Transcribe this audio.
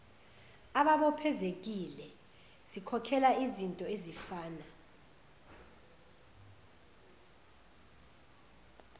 ababophezekile sikhokhela izintoezifana